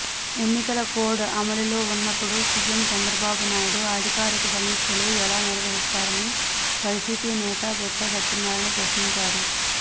ఎన్నికల కోడ్ అమలులో ఉన్నప్పుడు సీఎం చంద్రబాబునాయుడు అధికారిక సమీక్షలు ఎలా నిర్వహిస్తారని వైసీపి నేత బోత్స సత్యనారయణ ప్రశ్నించారు